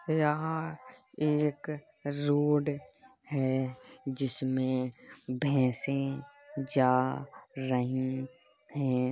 यहाँ एक रोड है जिसमें भैंसे जा रही हैं।